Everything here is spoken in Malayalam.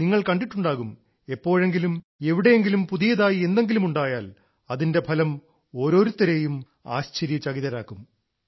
നിങ്ങൾ കണ്ടിട്ടുണ്ടാവും എപ്പോഴെങ്കിലും എവിടെയെങ്കിലും പുതിയതായി എന്തെങ്കിലും ഉണ്ടായാൽ അതിന്റെ ഫലം ഓരോരുത്തരെയും ആശ്ചര്യചകിതരാക്കും